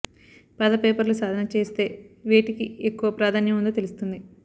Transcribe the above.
పాత పేపర్లు సాధన చేస్తే వేటికి ఎక్కువ ప్రాధాన్యం ఉందో తెలుస్తుంది